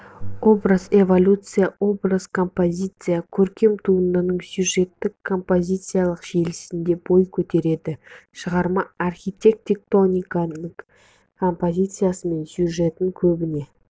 образ эволюциясы образ композициясы көркем туындының сюжеттік-композициялық желісінде бой көтереді шығарма архитектоникасын композициясы мен сюжетін көбіне